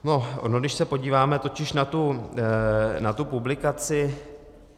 Ono když se podíváme totiž na tu publikaci